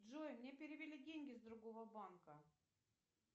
джой мне перевели деньги с другого банка